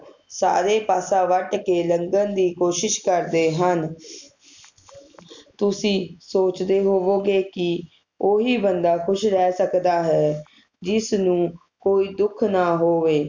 ਸਾਰੇ ਪਾਸਾ ਵੱਟ ਕੇ ਲੰਘਣ ਦੀ ਕੋਸ਼ਿਸ਼ ਕਰਦੇ ਹਨ ਤੁਸੀਂ ਸੋਚਦੇ ਹੋਵੋਗੇ ਕਿ ਓਹੀ ਬੰਦਾ ਖੁਸ਼ ਰਹਿ ਸਕਦਾ ਹੈ ਜਿਸ ਨੂੰ ਕੋਈ ਦੁੱਖ ਨਾ ਹੋਵੇ